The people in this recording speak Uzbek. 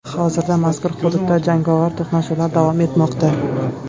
Hozirda mazkur hududda jangovar to‘qnashuvlar davom etmoqda.